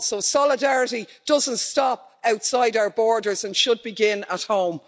Solidarity doesn't stop outside our borders and should begin at home.